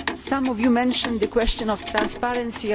times. Some of you mentioned the question of transparency.